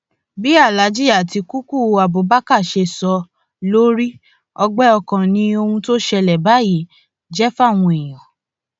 bí aláàjì àtikukú abubakar ṣe sọ ọ ló rí ọgbẹ ọkàn ni ohun tó ń ṣẹlẹ báyìí jẹ fáwọn èèyàn